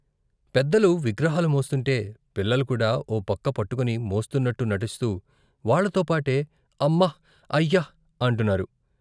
పెద్దలు విగ్రహాలు మోస్తుంటే పిల్లలు కూడా ఓ పక్క పట్టుకుని మోస్తున్నట్టు నటిస్తూ వాళ్ళతోపాటే అమ్మ ! అయ్య ! అంటున్నారు.